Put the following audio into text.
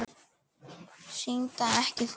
Syndga ekki framar.